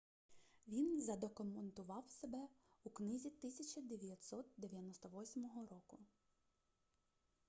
він задокументував себе у книзі 1998 року